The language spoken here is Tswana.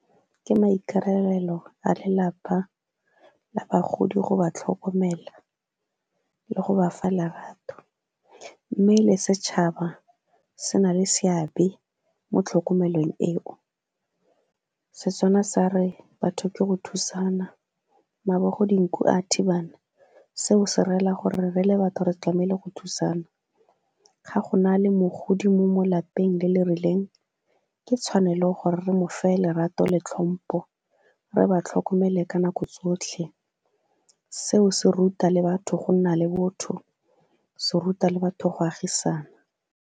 Ke maikarabelo a lelapa la bagodi go ba tlhokomela le go ba fa lerato, mme le setšhaba se na le seabe mo tlhokomelong eo. Setswana sa re batho ke go thusana, mabogong dinku a thibana seo se rela gore re le batho re tlamehile go thusana ga go na le mogodi mo mo lapeng le le rileng ke tshwanelo gore re mo fa lerato le tlhompo re ba tlhokomele ka nako tsotlhe. Seo se ruta le batho go nna le botho se ruta le batho go agisana.